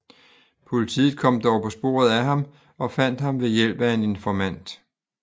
Politiet kom dog på sporet af ham og fandt ham ved hjælp af en informant